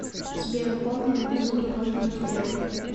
сбер хоми безумно можно быть первым